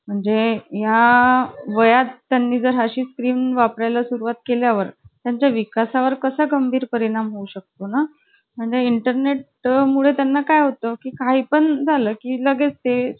तेव्हा ते. अरे, तुम्हाला ती madam हे द्यायचे का गं? भेंडी भिंडी ते असं कापून देईची वर कधी ते वही वर.